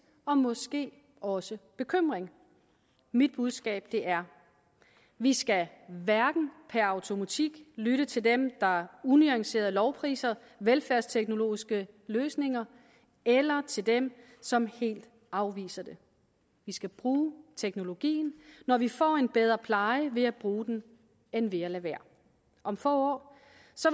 og måske også bekymring mit budskab er vi skal hverken per automatik lytte til dem der unuanceret lovpriser velfærdsteknologiske løsninger eller til dem som helt afviser det vi skal bruge teknologien når vi får en bedre pleje ved at bruge den end ved at lade være om få